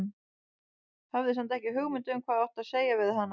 Hafði samt ekki hugmynd um hvað ég átti að segja við hana.